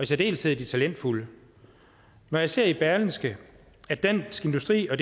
særdeleshed de talentfulde når jeg ser i berlingske at dansk industri og